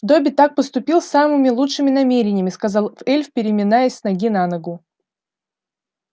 добби так поступил с самыми лучшими намерениями сказал эльф переминаясь с ноги на ногу